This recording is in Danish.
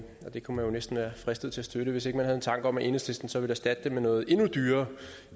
det kunne man næsten være fristet til at støtte hvis ikke man havde en tanke om at enhedslisten så ville erstatte det med noget endnu dyrere